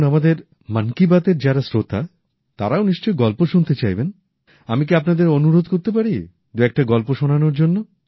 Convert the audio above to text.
এখন আমাদের মন কি বাতের যারা শ্রোতা তারাও নিশ্চয়ই গল্প শুনতে চাইবেন আমি কি আপনাদের অনুরোধ করতে পারি দুএকটা গল্প শোনানোর জন্য